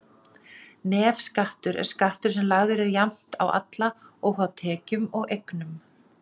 Nefskattur er skattur sem lagður er jafnt á alla, óháð tekjum og eignum.